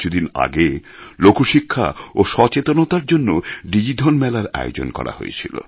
কিছুদিন আগে লোকশিক্ষা ও সচেতনতার জন্য ডিজিধন মেলা র আয়োজন করা হয়েছিল